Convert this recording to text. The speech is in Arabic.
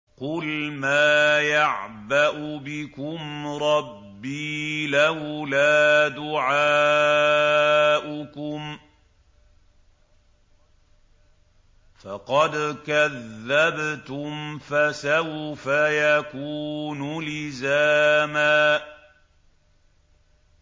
قُلْ مَا يَعْبَأُ بِكُمْ رَبِّي لَوْلَا دُعَاؤُكُمْ ۖ فَقَدْ كَذَّبْتُمْ فَسَوْفَ يَكُونُ لِزَامًا